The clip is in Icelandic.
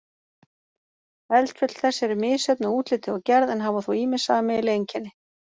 Eldfjöll þessi eru misjöfn að útliti og gerð en hafa þó ýmis sameiginleg einkenni.